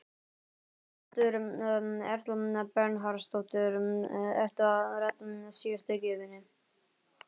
Berghildur Erla Bernharðsdóttir: Ertu að redda síðustu gjöfinni?